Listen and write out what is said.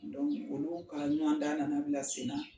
Dɔnku olu kalan ɲuman da nana bila sen na